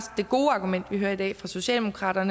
gode argument vi hører i dag fra socialdemokratiet